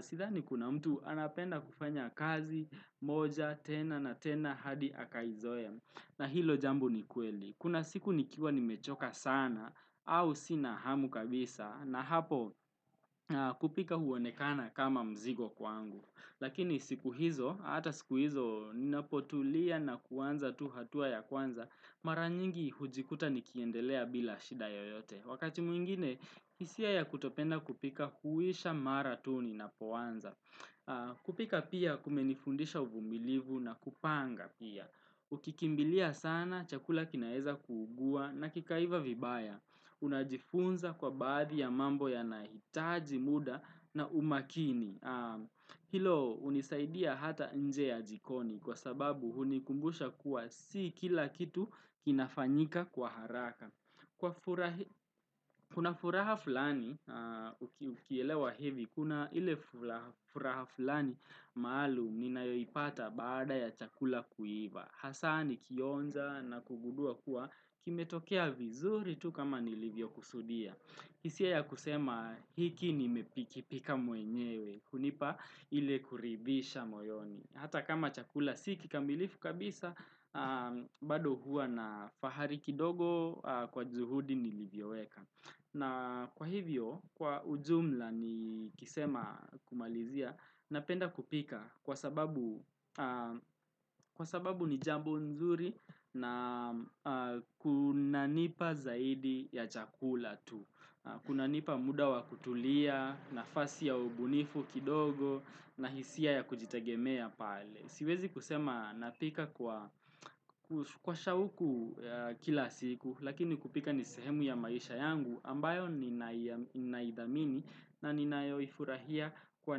Sidhani kuna mtu anapenda kufanya kazi moja tena na tena hadi akaizoya na hilo jambo ni kweli Kuna siku nikiwa ni mechoka sana au sina hamu kabisa na hapo kupika huonekana kama mzigo kwangu Lakini siku hizo, hata siku hizo, ninapotulia na kuanza tu hatua ya kuanza, mara nyingi hujikuta nikiendelea bila shida yoyote. Wakati mwingine, isia ya kutopenda kupika huisha mara tu ninapuanza. Kupika pia kumenifundisha uvumbilivu na kupanga pia. Ukikimbilia sana, chakula kinaeza kuugua na kikaiva vibaya. Unajifunza kwa baadhi ya mambo ya nahitaji muda na umakini. Hilo unisaidia hata nje ya jikoni kwa sababu hunikumbusha kuwa si kila kitu inafanyika kwa haraka Kuna furaha fulani ukielewa hevi kuna ile furaha fulani maahalu ninaipata baada ya chakula kuiva hasani kionza na kugudua kuwa kime tokea vizuri tu kama nilivyo kusudia Kisie ya kusema hiki ni mepikipika mwenyewe kunipa ile kuribisha moyoni. Hata kama chakula sikikambilifu kabisa, bado hua na fahari kidogo kwa zuhudi nilivyoeka. Na kwa hivyo, kwa ujumla ni kisema kumalizia, napenda kupika kwa sababu ni jambo nzuri na kunanipa zaidi ya chakula tu. Kuna nipa muda wa kutulia, nafasi ya ubunifu kidogo na hisia ya kujitagemea pale. Siwezi kusema napika kwa shauku kila siku lakini kupika nisehemu ya maisha yangu ambayo ninaidhamini na ninaifurahia kwa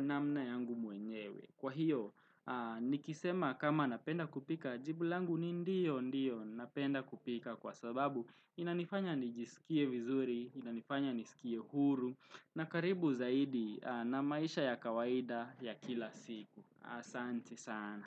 namna yangu muenyewe. Kwa hiyo, nikisema kama napenda kupika, jibulangu ni ndiyo ndiyo napenda kupika kwa sababu. Inanifanya nijisikie vizuri, inanifanya nisikie huru, na karibu zaidi na maisha ya kawaida ya kila siku. Sante sana.